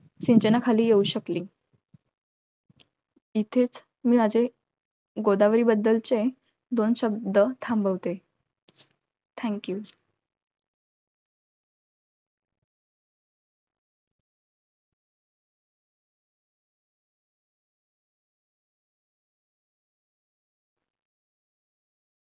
सिंचनाखाली येऊ शकली. इथेच मी माझे, गोदावरीबद्दलचे दोन शब्द थांबवते. Thank you